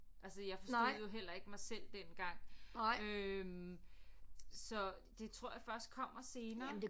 Altså jeg forstod jo heller ikke mig selv dengang øh så det tror jeg først kommer senere